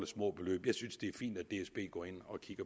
små beløb jeg synes det er fint at dsb går ind